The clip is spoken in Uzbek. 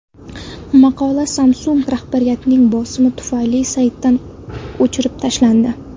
Maqola Samsung rahbariyatining bosimi tufayli saytdan o‘chirib tashlandi.